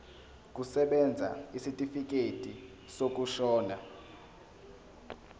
kusebenza isitifikedi sokushona